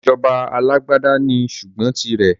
Ìsèjọba alàgbàda ní ṣùgbọ́n tì rẹ̀.